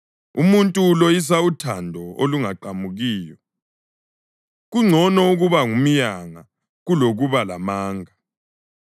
Umuntu uloyisa uthando olungaqamukiyo; kungcono ukuba ngumyanga kulokuba lamanga.